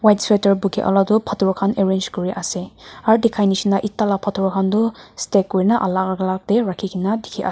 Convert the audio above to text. white sweater buki olatu phator khan arrange kuriase aro dikhai nishina eta la phator khan tu stack kurina alak alak rakhikae na dikhi --